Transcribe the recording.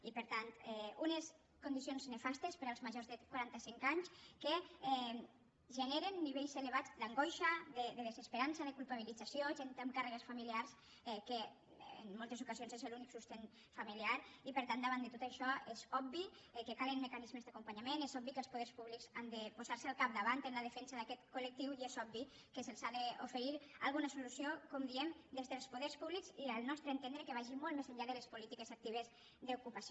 i per tant unes condicions nefastes per als majors de quarantacinc anys que generen nivells elevats d’angoixa de desesperança de culpabilització gent amb càrregues familiars que en moltes ocasions és l’única sustentació familiar i per tant davant de tot això és obvi que calen mecanismes d’acompanyament és obvi que els poders públics han de posar se al capdavant en la defensa d’aquest col·lectiu i és obvi que se’ls ha d’oferir alguna solució com diem des dels poders públics i al nostre entendre que vagi molt més enllà de les polítiques actives d’ocupació